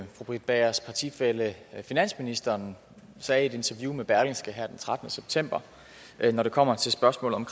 fru britt bagers partifælle finansministeren sagde i et interview med berlingske tidende her den trettende september når det kommer til spørgsmålet om